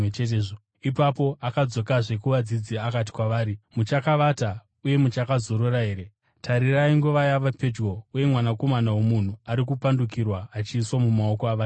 Ipapo akadzokazve kuvadzidzi akati kwavari, “Muchakavata uye muchakazorora here? Tarirai, nguva yava pedyo, uye Mwanakomana woMunhu ari kupandukirwa achiiswa mumaoko avatadzi.